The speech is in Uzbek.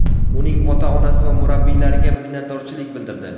uning ota-onasi va murabbiylariga minnatdorchilik bildirdi.